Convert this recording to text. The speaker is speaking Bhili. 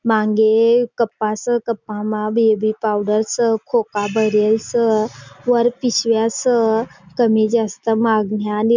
मागे कपास न कपा म वीवी पावडर स खोखा भरेल स वर पीस्या स कमी ज अस्ता माघ याली--